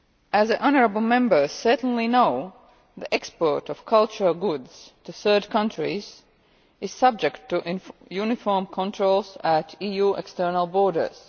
As the honourable Members certainly know, the export of cultural goods to third countries is subject to uniform controls at EU external borders.